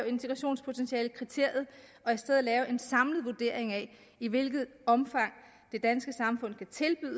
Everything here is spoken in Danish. integrationspotentialekriteriet og i stedet lave en samlet vurdering af i hvilket omfang det danske samfund kan tilbyde